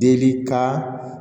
Deli ka